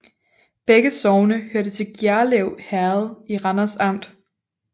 Begge sogne hørte til Gjerlev Herred i Randers Amt